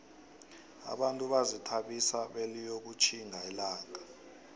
abantu bazithabisa beliyokutkhimga ilanaga